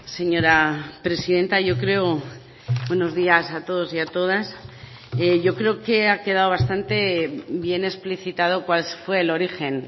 señora presidenta yo creo buenos días a todos y a todas yo creo que ha quedado bastante bien explicitado cuál fue el origen